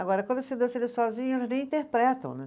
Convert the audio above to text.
Agora, quando você dança ele sozinho, eles nem interpretam, né?